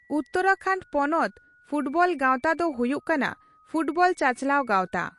ᱩᱛᱛᱚᱨᱟᱠᱷᱚᱱᱰ ᱯᱚᱱᱚᱛ ᱯᱷᱩᱴᱵᱚᱞ ᱜᱟᱣᱛᱟ ᱫᱚ ᱦᱩᱭᱩᱜ ᱠᱟᱱᱟ ᱯᱷᱩᱴᱵᱚᱞ ᱪᱟᱪᱞᱟᱣ ᱜᱟᱣᱛᱟ ᱾